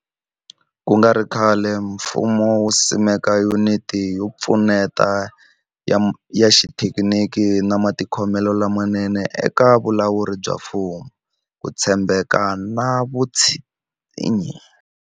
Ku nga ri khale, mfumo wu simeke Yuniti yo Pfuneta ya Xithekiniki ya Matikhomelo lamanene eka Vulawuri bya Mfumo, Ku tshembeka na Vutshinyi.